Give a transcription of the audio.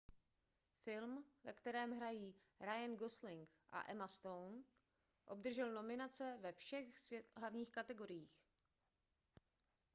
film ve kterém hrají ryan gosling a emma stone obdržel nominace ve všech hlavních kategoriích